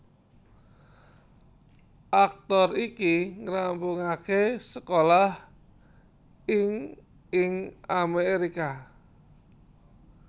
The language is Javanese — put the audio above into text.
Aktor iki ngrampungaké sekolah ing ing Amerika